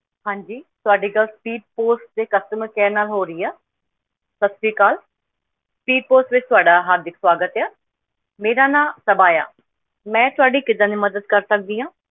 ਹਾਂ ਜੀ ਤੁਹਾਡੀ ਗੱਲ Speed Post ਦੇ Customer Care ਨਾਲ ਹੋ ਰਹੀ ਆ, ਸਤਿ ਸ੍ਰੀ ਅਕਾਲ Speed Post ਵਿੱਚ ਤੁਹਾਡਾ ਹਾਰਦਿਕ ਸਵਾਗਤ ਹੈ, ਮੇਰਾ ਨਾਮ ਤਬਾਇਆ, ਮੈਂ ਤੁਹਾਡੀ ਕਿੱਦਾਂ ਦੀ ਮਦਦ ਕਰ ਸਕਦੀ ਹਾਂ?